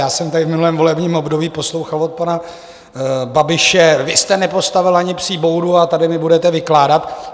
Já jsem tady v minulém volebním období poslouchal od pana Babiše: Vy jste nepostavil ani psí boudu, a tady mi budete vykládat...